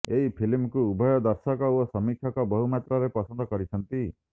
ଏହି ଫିଲ୍ମକୁ ଉଭୟ ଦର୍ଶକ ଓ ସମୀକ୍ଷକ ବହୁ ମାତ୍ରାରେ ପସନ୍ଦ ମଧ୍ୟ କରିଛନ୍ତି